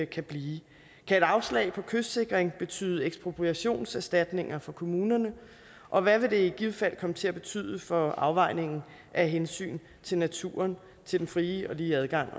kan blive kan et afslag på kystsikring betyde ekspropriationserstatninger for kommunerne og hvad vil det i givet fald komme til at betyde for afvejningen af hensyn til naturen til den fri og lige adgang